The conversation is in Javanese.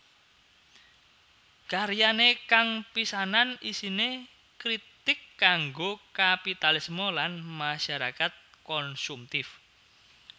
Karyane kang pisanan isine kritik kanggo kapitalisme lan masyarakat konsumtif